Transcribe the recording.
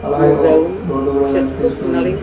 అలాగే ఓ రోడ్డు కూడా గనిపిస్తుంది.